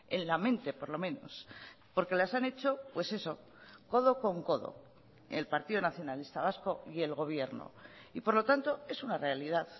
en la mente por lo menos porque las han hecho pues eso codo con codo el partido nacionalista vasco y el gobierno y por lo tanto es una realidad